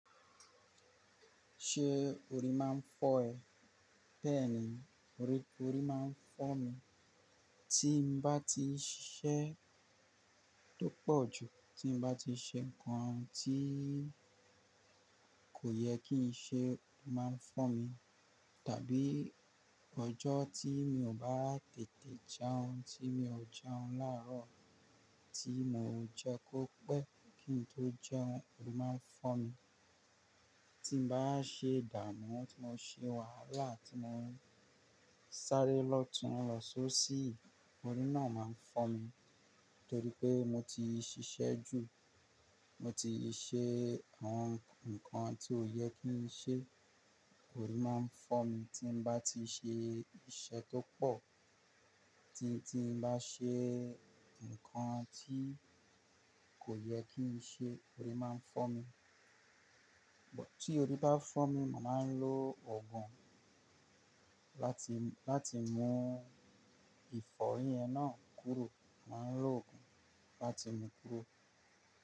Ṣé orí máa ń fọ́ ẹ? Bẹ́ẹ̀ni, orí, orí máa ń fọ́ mi. Tí mo bá ti ṣiṣẹ́ tó pọ̀ jù, tí mo bá ti ṣe nǹkan tí kò yẹ kí n ṣe, ó máa ń fọ́ mi. Tàbí ọjọ́ tí mi ò bá tètè jẹun, tí mi ò jẹun láàárọ̀, tí mo ò jẹ́ kó pẹ́ kí n tó jẹun, orí máa ń fọ́ mi. Tí mo bá ṣe ìdààmú, tí mo ṣe wàhálà, tí mo ń sáré lọ̀túnlọsọ sí i, orí náà máa ń fọ́ mi torí pé mo ti ṣiṣẹ́ jù, mo ti ṣe àwọn nǹkan tí ò yẹ kí n ṣe. Orí máa ń fọ́ mi tí mo bá ti ṣe iṣẹ́ tó pọ̀, tí, tí mo bá ṣe nǹkan tí kò yẹ kí n ṣe, orí máa ń fọ́ mi. Ṣùgbọ́n tí orí bá fọ́ mi, màá máa ń lo òògùn láti, láti mú ìfọ́rí yẹn náà kúrò. Màá ń lo òògùn láti mú kúrò.